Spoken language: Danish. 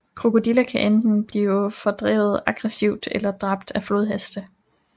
Krokodiller kan enten blive fordrevet aggressivt eller dræbt af flodheste